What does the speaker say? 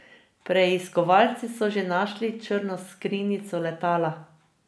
Preiskovalci so že našli črno skrinjico letala.